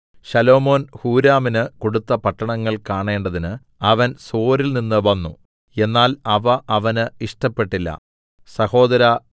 ശലോമോൻ ഹൂരാമിന് കൊടുത്ത പട്ടണങ്ങൾ കാണേണ്ടതിന് അവൻ സോരിൽനിന്ന് വന്നു എന്നാൽ അവ അവന് ഇഷ്ടപ്പെട്ടില്ല സഹോദരാ